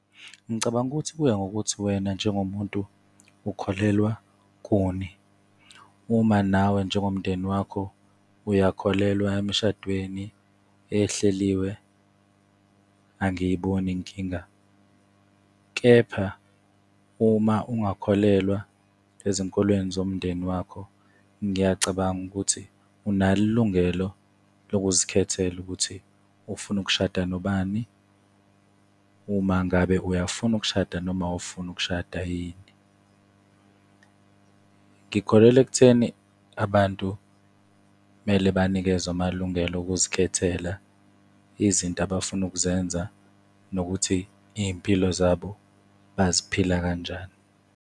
Ngicabanga ukuthi kuya ngokuthi wena njengomuntu ukholelwa kuni. Uma nawe, njengomndeni wakho uyakholelwa emshadweni ehleliwe angiyiboni inkinga. Kepha uma ungakholelwa ezinkolweni zomndeni wakho, ngiyacabanga ukuthi unalo ilungelo lokuzikhethela ukuthi ufuna ukushada nobani, uma ngabe uyafuna ukushada, noma awufuni ukushada yini. Ngikholelwa ekutheni abantu mele banikezwe amalungelo wokuzikhethela izinto abafuna ukuzenza nokuthi iy'mpilo zabo baziphila kanjani.